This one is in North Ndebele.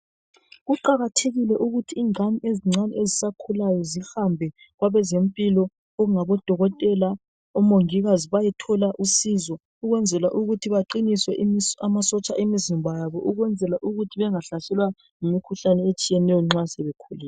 Kuqakathekile ukuthi ingane ezincane ezisakhulayo zihambe kwabezempilo okungabodokotela omongikazi bayethola usizo ukwenzela ukuthi baqinise amasotsha emizimba yabo ukwenzela ukuthi bangahlaselwa yimkhuhlane etshiyeneyo nxa sebekhulile.